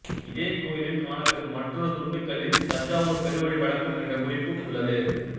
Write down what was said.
இதே கோயிலில் காணப்பெறும் மற்றொரு துண்டுக்கல்லில் தஞ்சாவூர்ப் பெருவழி வடக்கும் என்ற குறிப்பு உள்ளது